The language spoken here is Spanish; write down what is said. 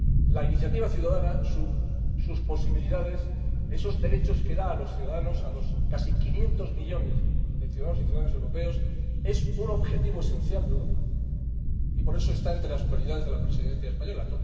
La iniciativa ciudadana, con sus posibilidades, con esos derechos que da a los ciudadanos —a los casi quinientos millones de ciudadanos y ciudadanas europeos— es un objetivo esencial de Europa y por eso está entre las prioridades de la Presidencia española